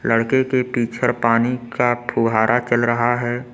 लड़के के पीछड़ पानी का फुहारा चल रहा है।